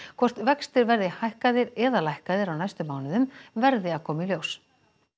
hvort vextir verði hækkaðir eða lækkaðir á næstu mánuðum verði að koma í ljós